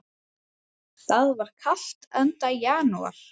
Það var kalt, enda janúar.